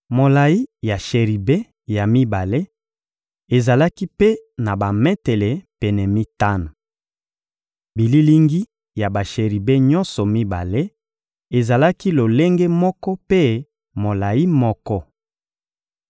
Molayi ya sheribe ya mibale ezalaki mpe na bametele pene mitano. Bililingi ya basheribe nyonso mibale ezalaki lolenge moko mpe molayi moko.